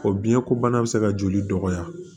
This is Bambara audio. O biɲɛ ko bana bi se ka joli dɔgɔya